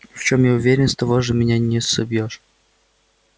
но в чем я уверен с того меня уж не собьёшь